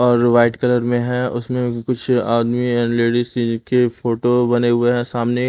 और white colour में है उसमें कुछ आदमी एंड लेडीज फोटो बने हुए हैं सामने--